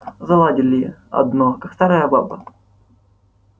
заладили одно как старая баба